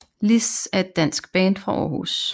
Liss er et dansk band fra Aarhus